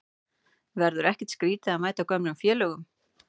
Verður ekkert skrítið að mæta gömlu félögunum?